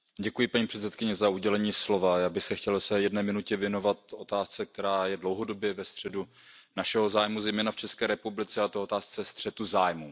Paní předsedající, já bych se chtěl ve své jedné minutě věnovat otázce, která je dlouhodobě ve středu našeho zájmu, zejména v České republice, a to otázce střetu zájmů.